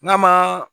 N'a ma